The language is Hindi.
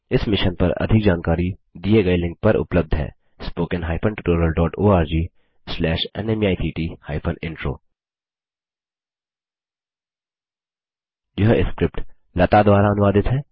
इस मिशन पर अधिक जानकारी दिए गए लिंक पर उपलब्ध है httpspoken tutorialorgNMEICT Intro यह स्क्रिप्ट लता द्वारा अनुवादित है